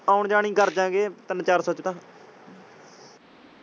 ਆਉਣ ਜਾਨ ਹੀ ਕਾਰਜਾਂਗੇ ਤਿਨ ਚਾਰ ਸੋ ਚ ਤਾਂ।